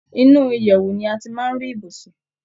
Inú ìyèwù ni a ti máa ń rí ibùsùn.